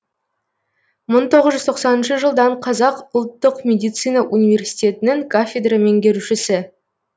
мың тоғыз жүз тоқсаныншы жылдан қазақ ұлттық медицина университетінің кафедра меңгерушісі